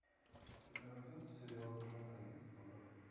у тебя найдется сериалы клинта иствуда